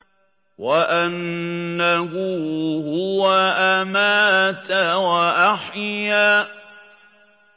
وَأَنَّهُ هُوَ أَمَاتَ وَأَحْيَا